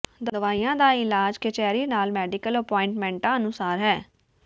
ਦਵਾਈਆਂ ਦਾ ਇਲਾਜ ਕਚਹਿਰੀ ਨਾਲ ਮੈਡੀਕਲ ਅਪੌਂਇੰਟਮੈਂਟਾਂ ਅਨੁਸਾਰ ਹੈ